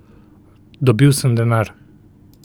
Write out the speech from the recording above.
Dobil sem denar.